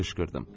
qışqırdım.